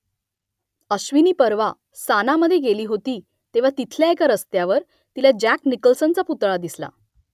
अश्विनी परवा सानामध्ये गेली होती तेव्हा तिथल्या एका रस्त्यावर तिला जॅक निकल्सनचा पुतळा दिसला